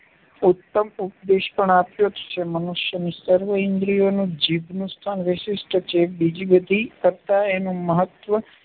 ઉત્તમ ઉપદેશ પણ આપ્યો છે. મનુષ્યની સર્વ ઇન્દ્રિયોનું જીભનું સ્થાન વિશિષ્ટ છે. બીજી બધી કરતાં એનું મહત્ત્વ